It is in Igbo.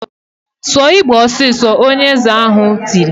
"Sụọ Igbo ọsịsọ!" Onye eze ha tiri.